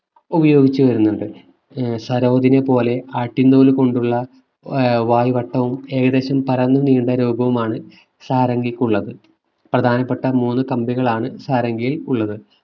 ഉപയോഗിച്ച് വരുന്നത് ആഹ് സരോജിനി പോലെ ആട്ടിൻ തോലു കൊണ്ടുള്ള ഏർ വായവട്ടവും ഏകദേശം പരന്ന നീണ്ട രൂപവുമാണ് സാരംഗിക്കുള്ളത്. പ്രധാനപ്പെട്ട മൂന്നു കമ്പികളാണ് സാരംഗിയിൽ ഉള്ളത്